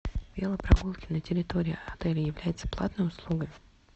велопрогулки на территории отеля являются платной услугой